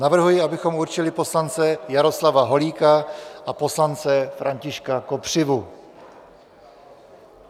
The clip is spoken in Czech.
Navrhuji, abychom určili poslance Jaroslava Holíka a poslance Františka Kopřivu.